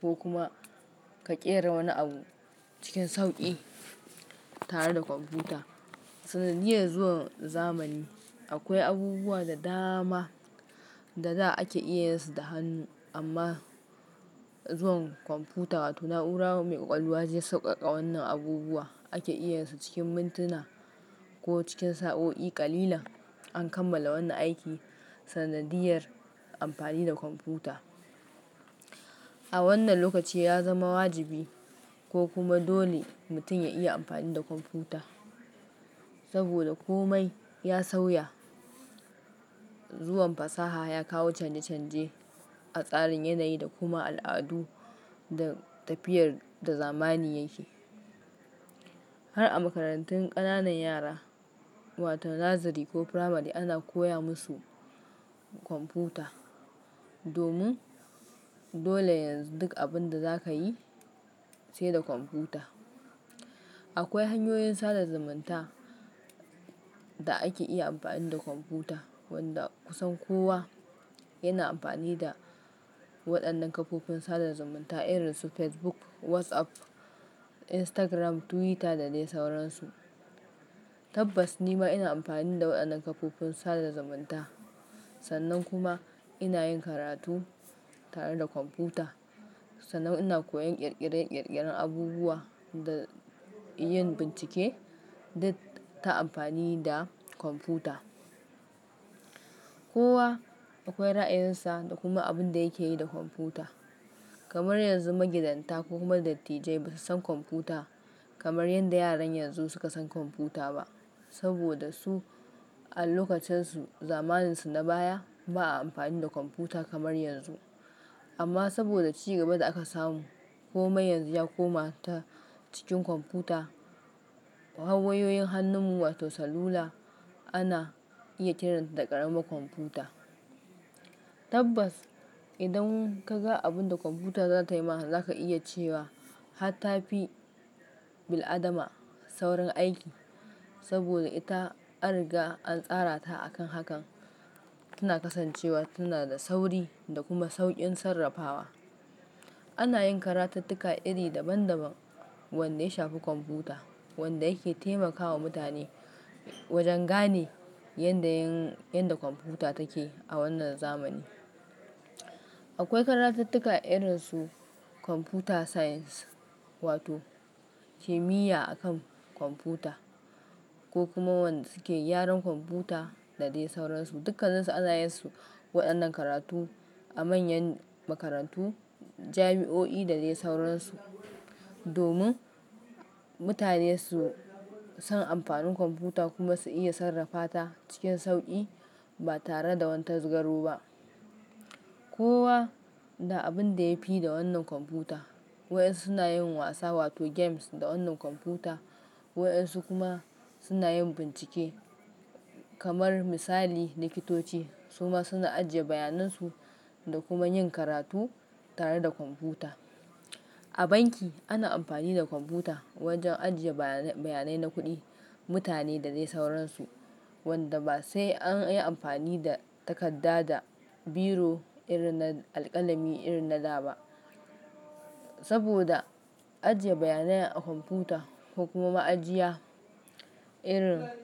ko kuma ka ƙera wani abu cikin sauƙi tare da kwamfuta. Sanadiyar zuwan zamani akwai abubuwa da dama da za a iya yin su da hannu amma zuwan kwamfuta wato na'ura mai ƙwaƙwalwa zai sauƙaƙa wannan abubuwa ake iya yin su cikin mintuna ko cikin sa'o'i kalilan an kammala wannan aiki. Sanadiyar amfani da kwamfuta a wannan lokaci ya zama wajibi ko kuma dole mutum ya iya amfani da kwamfuta saboda komai ya sauya. Zuwan fasaha ya kawo canje canje a tsarin yanayi da kuma al'adu da tafiyar da zamani yake. Har a makarantun ƙananan yara wato Nursery ko Primary ana koya musu kwamfuta domin dole yanzu duk abinda zaka yi sai da kwamfuta. Akwai hanyoyin sadar zamunta da ake iya amfani da kwamfuta wanda kusan kowa yana amfani da waɗannan kafofin sadar zamunta irin su Facebook, WhatsApp, Instagram, Twitter da dai sauransu. Tabbas nima ina amfani da waɗannan kafofin sadar zamunta. Sannan kuma ina yin karatu tare da kwamfuta. Sannan ina koyan ƙirƙirar ƙirƙirar abubuwa da yin bincike duk ta amfani da kwamfuta. Kowa akwai ra'ayinsa da kuma abinda yake yi da kwamfuta. Kamar yanzu magidanta ko kuma dattijai ba su san kwamfuta kamar yadda yaran yanzu suka san kwamfuta ba saboda su a lokacensu zamaninsu na baya ba a amfani da kwamfuta kamar yanzu. Amma saboda cigaban da aka samu komai yanzu ya koma ta cikin kwamfuta. Har wayoyin hannun mu wato salula ana iya kiranta da ƙaramin kwamfuta. Tabbas idan kaga abinda kwamfuta za ta yi ma zaka iya cewa hatta fi bil'adama saurin aiki saboda ita an riga an tsara ta akan hakan. Tana kasancewa tana da sauri da kuma sauƙin sarrafawa. Ana yin karatuttuka iri daban daban wanda ya shafi kwamfuta wanda yake taimakawa mutane wajen gane yanda yin yanda kwamfuta take a wannan zamani. Akwai karatuttuka irin su Computer Science wato kimiyya akan kwamfuta ko kuma wanda suke gyaran kwamfuta da dai sauransu. Dukkan su an zaya su waɗannan karatu a manyan makarantu, jami'o'i da dai sauransu domin mutane su san amfanin kwamfuta kuma su iya sarrafawa ta cikin sauƙi ba tare da wata zugaru ba. Kowa da abinda ya fi da wannan kwamfuta. Waɗansu suna yin wasa wato games da wannan kwamfuta waɗansu kuma suna yin bincike kamar misali likitoci suma suna ajiye bayanan su da kuma yin karatu tare da kwamfuta. A banki ana amfani da kwamfuta wajen ajiye bayanan bayanan na kuɗi, mutane da dai sauransu wanda ba sai an yi amfani da takarda da biro irin na alƙalami irin na da ba saboda ajiye bayanan a kwamfuta ko kuma ma'ajiya irin.